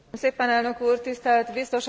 Tisztelt Biztos Asszonyok!